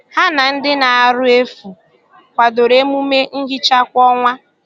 Ha na ndị na - arụ efu kwadoro emume nhicha kwa ọnwa